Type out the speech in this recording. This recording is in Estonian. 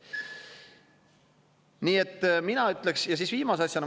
Nii et mina ütleks, ja siis viimase asjana.